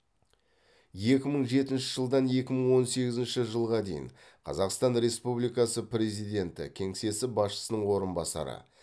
екі мың жетінші жылдан екі мың он сегізінші жылға дейін қазақстан республикасы президенті кеңсесі басшысының орынбасары